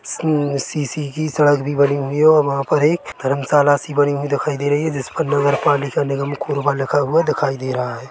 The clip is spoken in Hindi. --सी सीसी की सड़क भी बनी हुई है और वहां पर एक धर्मशाला भी बनी हुई दिखाई दे रही है जिस पर नगर पालिका निगम कोरबा लिखा हुआ दिखाई दे रहा है।